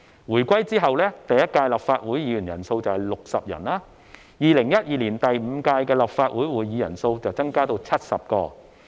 回歸後，第一屆立法會議員人數有60人。2012年第五屆立法會會議人數增至70人。